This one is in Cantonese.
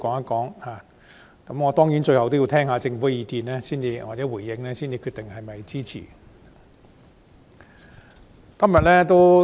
當然，我最後要聽聽政府的意見或回應才能決定是否予以支持。